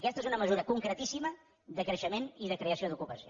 aquesta és una mesura concretíssima de creixement i de creació d’ocupació